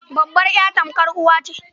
Babbar ya tamkar uwa ce.